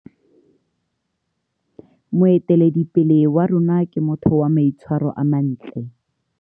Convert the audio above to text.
Moeteledipele wa rona ke motho wa maitshwaro a mantle.